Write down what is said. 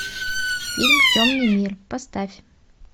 фильм темный мир поставь